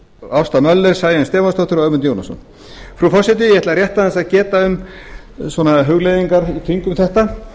ásta möller sæunn stefánsdóttir og ögmundur jónasson frú forseti ég ætla rétt aðeins að geta um svona hugleiðingar í kringum þetta